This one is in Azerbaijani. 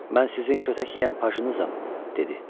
Mən sizin kötək yeyən pajınızam, dedi.